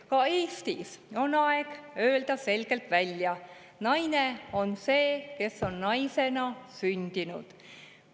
Ka Eestis on aeg öelda selgelt välja: naine on see, kes on naisena sündinud.